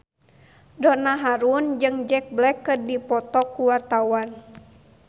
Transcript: Donna Harun jeung Jack Black keur dipoto ku wartawan